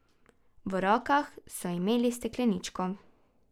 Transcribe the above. V rokah so imeli stekleničko.